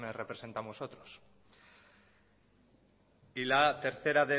representamos otros y la tercera